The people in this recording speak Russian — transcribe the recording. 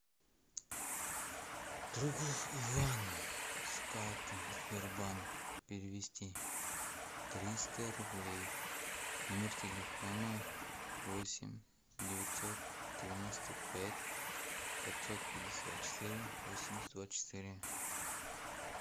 другу ивану с карты сбербанк перевести триста рублей номер телефона восемь девятьсот девяносто пять пятьсот пятьдесят четыре восемьдесят двадцать четыре